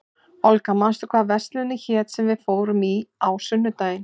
Olga, manstu hvað verslunin hét sem við fórum í á sunnudaginn?